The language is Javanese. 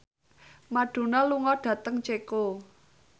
Madonna lunga dhateng Ceko